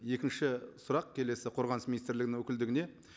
екінші сұрақ келесі қорғаныс министрлігінің өкілдігіне